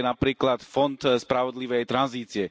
A to je aj napríklad fond spravodlivej tranzície.